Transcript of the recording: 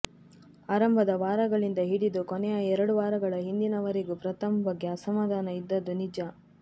ಆರಂಭದ ವಾರಗಳಿಂದ ಹಿಡಿದು ಕೊನೆಯ ಎರಡು ವಾರಗಳ ಹಿಂದಿನ ವರೆಗೂ ಪ್ರಥಮ್ ಬಗ್ಗೆ ಅಸಮಾಧಾನ ಇದ್ದದ್ದು ನಿಜ